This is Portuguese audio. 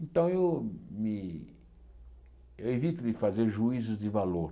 Então, eu me evito de fazer juízos de valor.